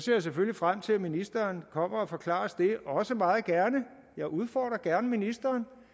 jeg selvfølgelig frem til at ministeren kommer og forklarer os det jeg udfordrer gerne ministeren